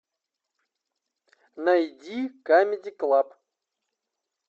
найди камеди клаб